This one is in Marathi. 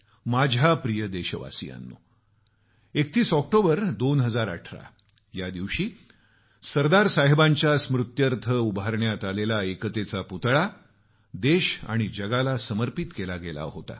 माझ्या प्रिय देशवासियांनो 31 ऑक्टोबर 2018 या दिवशी सरदार साहेबांच्या स्मृत्यर्थ उभारण्यात आलेला एकतेचा पुतळा देश आणि जगाला समर्पित केला गेला होता